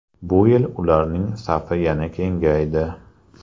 Bu yil ularning safi yana kengaydi.